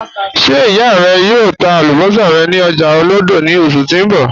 Ṣe iya rẹ yòò tà àlúbọ̀ṣà rẹ ni ọ̀jà Olodo ni oṣù ti n bọ?